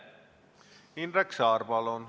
Indrek Saar, palun!